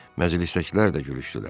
Məclisdəkilər də gülüşdülər.